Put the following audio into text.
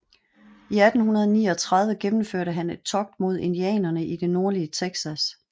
I 1839 gennemførte han et togt mod indianerne i det nordlige Texas